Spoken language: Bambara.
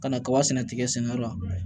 Ka na kaba sɛnɛ tiga sɛnɛyɔrɔ la